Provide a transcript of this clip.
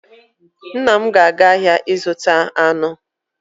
Nna m ga-aga ahịa ịzụta anụ